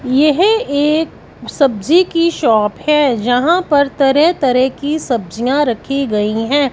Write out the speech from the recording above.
यह एक सब्जी की शॉप है जहां पर तरह तरह की सब्जियां रखी गई हैं।